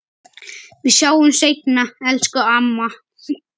Við sjáumst seinna, elsku amma.